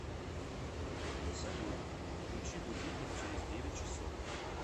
салют включи будильник через девять часов